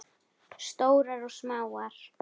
Stórar og smáar.